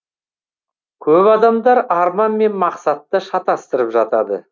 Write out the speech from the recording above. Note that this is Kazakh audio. көп адамдар арман мен мақсатты шатастырып жатады